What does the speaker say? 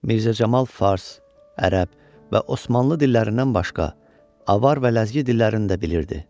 Mirzə Camal fars, ərəb və osmanlı dillərindən başqa, avar və ləzgi dillərini də bilirdi.